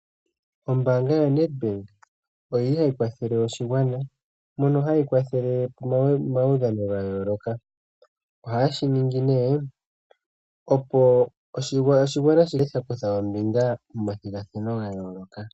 Ombaanga yoNedbank oyili hayi kwathele oshigwana mpono hayi kwathele omaudhano ga yooloka ohaye shi ningi nee opo oshigwana shi kale sha kutha ombinga momathigathano ga yooloka.